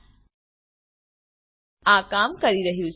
હા આ કામ કરી રહ્યું છે